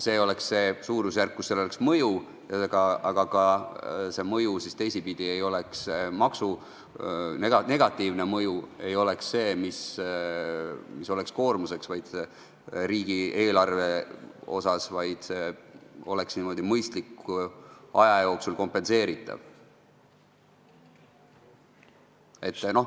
See oleks see suurusjärk, kus sel oleks mõju, ja negatiivne mõju ei oleks koormuseks riigieelarvele, vaid oleks mõistliku aja jooksul kompenseeritav.